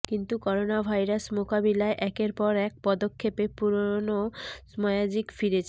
কিন্তু করোনাভাইরাস মোকাবিলায় একের পর এক পদক্ষেপে পুরোনো ম্য়াজিক ফিরেছে